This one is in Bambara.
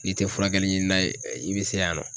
N'i te furakɛli ɲininan ye i bi se yan nɔ.